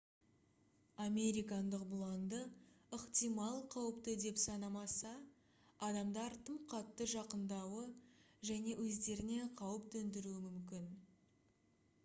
американдық бұланды ықтимал қауіпті деп санамаса адамдар тым қатты жақынадуы және өздеріне қауіп төндіруі мүмкін